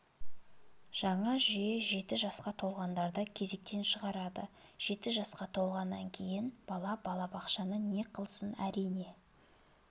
жаңа жүйе жеті жасқа толғандарды кезектен шығарады жеті жасқа толғаннан кейін бала балабақшаны не қылсын әрине